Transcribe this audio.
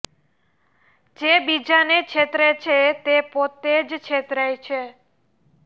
જે બીજાને છેતરે છે તે પોતે જ છેતરાય છે